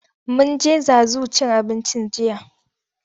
Mun je Zazu cin abinci jiya.